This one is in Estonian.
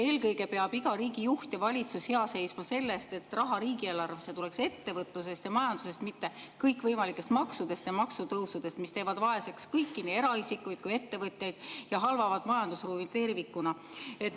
Eelkõige peab iga riigijuht ja valitsus hea seisma selle eest, et riigieelarvesse tuleks raha ettevõtlusest ja majandusest, mitte kõikvõimalikest maksudest ja maksutõusudest, mis teevad vaeseks kõiki, nii eraisikuid kui ettevõtteid, ja halvavad majandusruumi tervikuna.